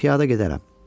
Piyada gedərəm.